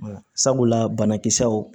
Sabula banakisɛw